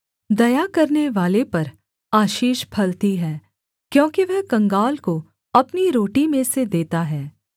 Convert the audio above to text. दया करनेवाले पर आशीष फलती है क्योंकि वह कंगाल को अपनी रोटी में से देता है